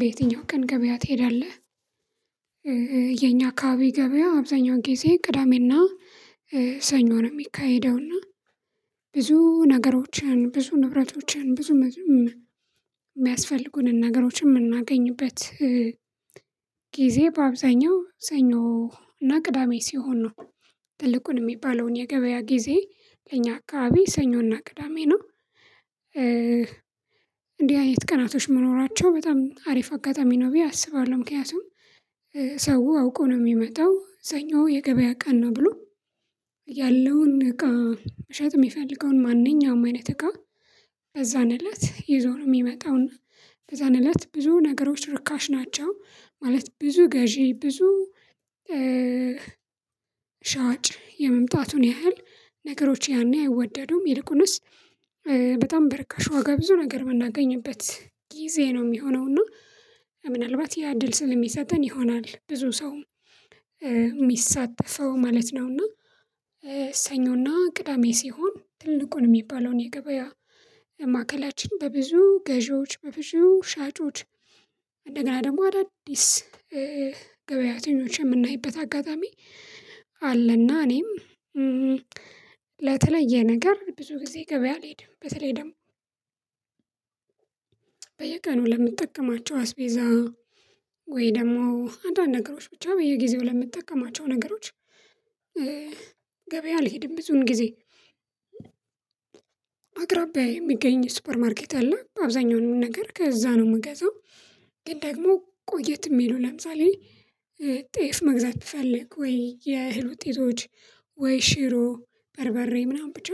በየትኛው ቀን ገበያ ትሄዳለህ? የኛ አካባቢ ገበያ አብዛኛው ጊዜ ቅዳሜና ሰኞ ነው። የሚካሄደውና ብዙ ነገሮችን ብዙ ንብረቶችን ብዙ የሚያስፈልጉንን ነገሮች የምናገኝበት ጊዜ በአብዛኛው ሰኞ እና ቅዳሜ ሲሆን ነው። ትልቁን የሚባለውን የገበያ ጊዜ ለኛ አካባቢ ሰኞና ቅዳሜ ነው። እንዲህ አይነት ቀናቶች መኖራቸው በጣም አሪፍ አጋጣሚ ነው ብዬ አስባለሁ። ምክንያቱም ሰው አውቆ ነው የሚመጣው ሰኞ የገበያ ቀን ነው ብሎ ያለውን እቃ መሸጥ የሚፈልገውን ማንኛውም አይነት እቃ ከዛን እለት ይዞ ነው የሚመጣው። በዛን እለት ብዙ ነገሮች ርካሽ ናቸው ማለት። ብዙ ገዢ ብዙ ሻጭ የመምጣቱን ያህል ነገሮች ያኔ አይወደዱም ይልቁንስ በጣም በርካሽ ዋጋ ብዙ ነገር የምናገኝበት ጊዜ ነው የሚሆነው እና ምናልባት ያ እድል ስለሚሰጠን ይሆናል ብዙ ሰው የሚሳተፈው ማለት ነው። እና ሰኞና ቅዳሜ ሲሆን ትልቁን የሚባለውን የገበያ ማዕከላችን በብዙ ገዢዎች በብዙ ሻጮች እንደገና ደግሞ አዳዲስ ገበያተኞች የምናይበት አጋጣሚ አለና። እኔም ለተለየ ነገር ብዙ ጊዜ ገበያ አልሄድም በተለይ ደግሞ በየቀኑ ለምጠቀማቸው አስቤዛ ወይ ደግሞ አንዳንድ ነገሮች ብቻ በየጊዜው ለምትጠቀማቸው ነገሮች ገበያ አልሄድም። ብዙን ጊዜ አቅራቢያዬ የሚገኝ ሱፐርማርኬት አለ አብዛኛውን ነገር ከዛ ነው የምገዛው። ግን ደግሞ ቆየት የሚለው ለምሳሌ ጤፍ መግዛት ትፈልግ ወይ የእህል ውጤቶች ወይ ሽሮ በርበሬ ምናምን ብቻ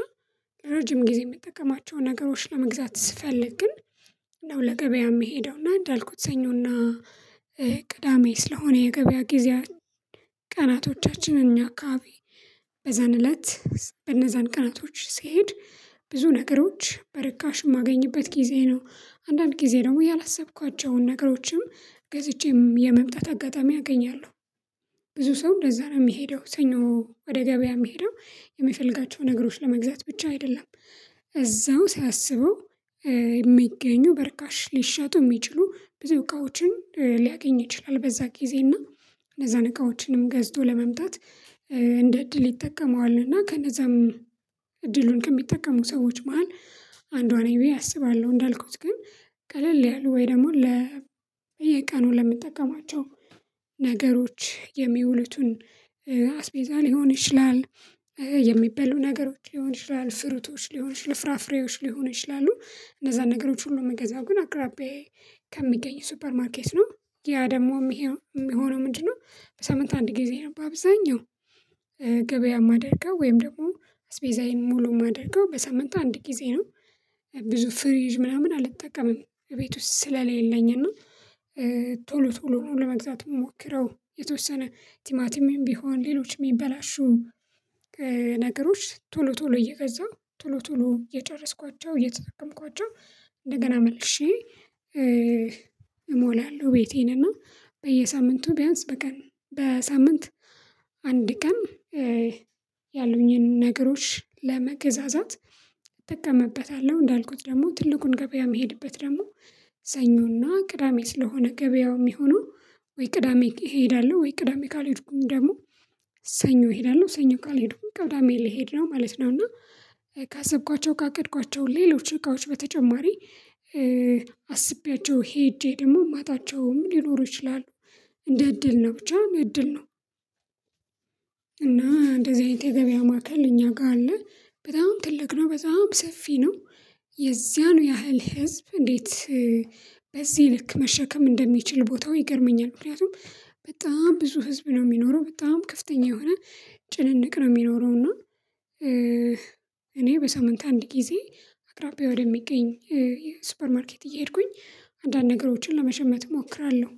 ለረጅም ጊዜ የምጠቀማቸውን ነገሮች ለመግዛት ስፈልግ ግን ነው ለገበያ የምሄደውና እንዳልኩት ሰኞና ቅዳሜ ስለሆነ የገበያ ጊዜ ቀናቶቻችን እኛ አካባቢ በዛን እለት በነዛን ቀናቶች ስሄድ ብዙ ነገሮች በርካሽ የማገኝበት ጊዜ ነው። አንዳንድ ጊዜ ደግሞ ያላሰብኳቸውን ነገሮችም ገዝቼም የመምጣት አጋጣሚ አገኛለሁ። ብዙ ሰው እንደዛ ነው የሚሄደው ሰኞ ወደ ገበያ የሚሄደው የምፈልጋቸው ነገሮች ለመግዛት ብቻ አይደለም እዛው ሳያስበው የሚገኙ በርካሽ ሊሸጡ የሚችሉ ብዙ እቃዎችን ሊያገኝ ይችላል በዛ ጊዜ እና ለዛን እቃዎችንም ገዝቶ ለመምጣት እንደ እድል ይጠቀመዋል። እና ከነዛም እድሉን ከሚጠቀሙ ሰዎች መሃል አንዷ ነኝ ብዬ አስባለሁ። እንዳልኩት ግን ቀለል ያለው ወይ ደግሞ ለ በየቀኑ ለምንጠቀማቸው ነገሮች የሚውሉትን አስቤዛ ሊሆን ይችላል የሚበሉ ነገሮች ሊሆን ይችላል ፍሩቶች ሊሆን ይችላል ፍራፍሬዎች ሊሆን ይችላል እነዛን ነገሮች ሁሉ ምገዛው ግን አቅራቢያዬ ከሚገኝ ሱፐር ማርኬት ነው። ያ ደግሞ የሚሄድ የሚሆነው ምንድነው? በሳምንት አንድ ጊዜ ነው በአብዛኛው ገበያ ማደርገው ወይም ደግሞ አስቤዛዬን ሙሉ ማደርገው በሳምንት አንድ ጊዜ ነው። ብዙ ፍሪጅ ምናምን አልጠቀምም እቤት ውስጥ ስለሌለኝ እና ቶሎ ቶሎ ነው ለመግዛት የምሞክረው የተወሰነ ቲማቲም ቢሆን ሌሎችም የሚበላሹ ነገሮች ቶሎ ቶሎ እየገዛሁ ቶሎ ቶሎ እየጨረስኳቸው እየተጠቀምኳቸው እንደገና መልሼ እሞላለሁ። ቤቴን እና በየሳምንቱ ቢያንስ በቀን በሳምንት አንድ ቀን ያሉኝን ነገሮች ለመገዛዛት እጠቀምበታለሁ። እንዳልኩት ደግሞ ትልቁን ገበያ የሚሄድበት ደግሞ ሰኞና ቅዳሜ ስለሆነ ገበያው የሚሆነው ወይ ቅዳሜ እሄዳለሁ ወይ ቅዳሜ ካልሄድኩኝ ደግሞ ሰኞ እሄዳለሁ ሰኞ ካልሄድኩኝ ቅዳሜ ልሄድ ነው ማለት ነው። እና ካሰብኳቸው ካቀድኳቸው ሌሎች እቃዎች በተጨማሪ አስቤያቸው ሄጄ ደግሞ ማጣቸውም ሊኖሩ ይችላሉ እንደ እድል ነው ብቻ እንደ እድል ነው። እና እንደዚህ አይነት የገበያ ማከል እኛ ጋር አለ በጣም ትልቅ ነው በጣም ሰፊ ነው። የዚያኑ ያህል ህዝብ እንዴት በዚህ ልክ መሸከም እንደሚችል ቦታው ይገርመኛል። ምክንያቱም በጣም ብዙ ህዝብ ነው የሚኖረው በጣም ከፍተኛ የሆነ ጭንንቅ ነው የሚኖረው። እና እኔ በሳምንት አንድ ጊዜ አቅራቢያ ወደሚገኝ ሱፐር ማርኬት እየሄድኩኝ አንዳንድ ነገሮችን ለመሸመት እሞክራለሁ።